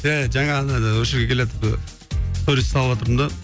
иә иә жаңа анада осы жерге келатып ы сторис салыватырмын да